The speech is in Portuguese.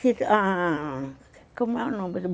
Ah... Como é o nome?